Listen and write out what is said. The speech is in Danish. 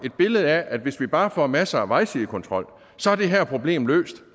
et billede af at hvis vi bare får masser af vejsidekontrol så er det her problem løst